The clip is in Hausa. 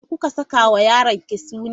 Me kuka saka wa yaronki suna?